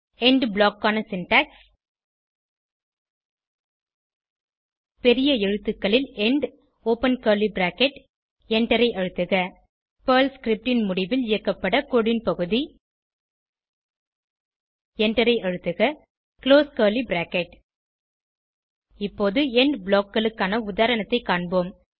end block க்கான syntax பெரிய எழுத்துகளில் எண்ட் ஒப்பன் கர்லி பிராக்கெட் எண்டரை அழுத்துக பெர்ல் ஸ்கிரிப்ட் ன் முடிவில் இயக்கப்பட கோடு ன் பகுதி எண்டரை அழுத்துக குளோஸ் கர்லி பிராக்கெட் இப்போது எண்ட் blockகளுக்கான உதாரணத்தைக் காண்போம்